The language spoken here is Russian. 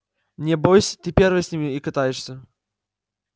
небось ты первый с ним и катаешься